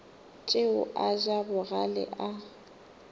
tšeo a ja bogale a